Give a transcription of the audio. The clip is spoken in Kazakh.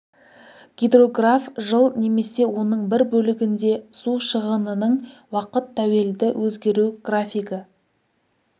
гидрограф жыл немесе оның бір бөлігінде су шығынының уақыт тәуелді өзгеру графигі